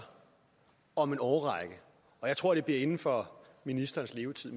om en årrække og jeg tror det bliver inden for ministerens levetid